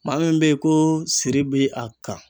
Maa min be ye koo siri bi a kan